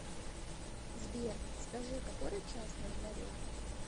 сбер скажи который час на дворе